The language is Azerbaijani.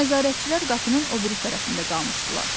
Nəzarətçilər qapının o biri tərəfində qalmışdılar.